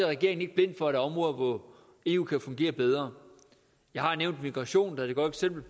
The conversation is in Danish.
regeringen ikke blind for at områder hvor eu kan fungere bedre jeg har nævnt migration der er et godt eksempel